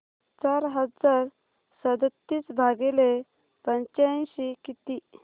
चार हजार सदतीस भागिले पंच्याऐंशी किती